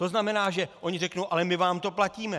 To znamená, že oni řeknou - ale my vám to platíme?